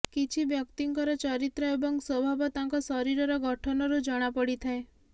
କିଛି ବ୍ୟକ୍ତିଙ୍କର ଚରିତ୍ର ଏବଂ ସ୍ୱଭାବ ତାଙ୍କ ଶରୀରର ଗଠନରୁ ଜଣାପଡ଼ିଥାଏ